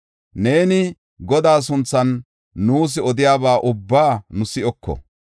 “Neeni Godaa sunthan nuus odiyaba ubbaa nu si7oko.